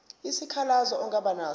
isikhalazo ongaba naso